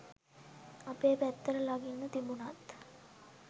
අපේ පැත්තට ළඟින්ම තිබුණත්